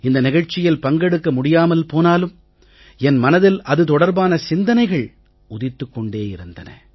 இந்த நிகழ்ச்சியில் பங்கெடுக்க முடியாமல் போனாலும் என் மனதில் அது தொடர்பான சிந்தனைகள் உதித்துக் கொண்டிருந்தன